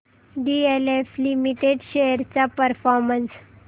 DLF limited shares चा performance